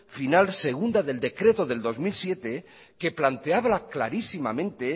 final segunda del decreto del dos mil siete que planteaba la clarísimamente